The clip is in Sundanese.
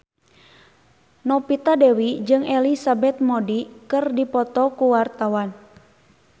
Novita Dewi jeung Elizabeth Moody keur dipoto ku wartawan